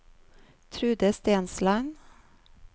Trude Stensland